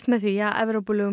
með því að